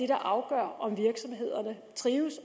der afgør om virksomhederne trives